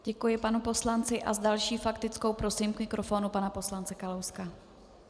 Děkuji panu poslanci a s další faktickou prosím k mikrofonu pana poslance Kalouska.